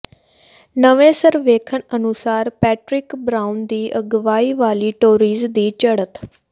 ਨਵੇਂ ਸਰਵੇਖਣ ਅਨੁਸਾਰ ਪੈਟਰਿਕ ਬਰਾਊਨ ਦੀ ਅਗਵਾਈ ਵਾਲੀ ਟੋਰੀਜ਼ ਦੀ ਚੜ੍ਹਤ